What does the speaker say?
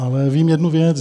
Ale vím jednu věc.